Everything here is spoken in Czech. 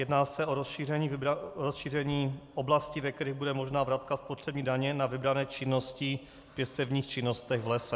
Jedná se o rozšíření oblasti, ve kterých bude možná vratka spotřební daně na vybrané činnosti v pěstebních činnostech v lese.